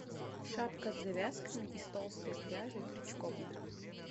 шапка с завязками из толстой пряжи крючком